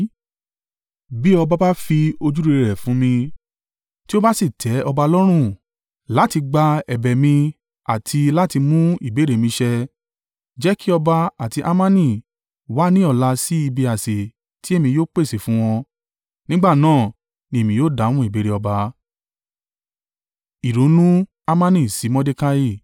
Bí ọba bá fi ojúrere rẹ̀ fún mi, tí ó bá sì tẹ́ ọba lọ́rùn láti gba ẹ̀bẹ̀ mi àti láti mú ìbéèrè mi ṣẹ, jẹ́ kí ọba àti Hamani wá ní ọ̀la sí ibi àsè tí èmi yóò pèsè fún wọn. Nígbà náà ni èmi yóò dáhùn ìbéèrè ọba.”